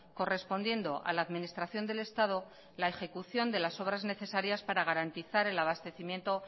correspondiendo a la administración del estado la ejecución de las obras necesarias para garantizar el abastecimiento